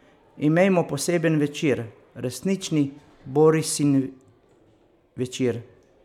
Imejmo poseben večer, resnični Borussiin večer.